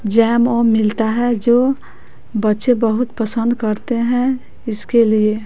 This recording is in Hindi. जैम ओम मिलता है जो बच्चे बहुत पसंद करते हैं इसके लिए--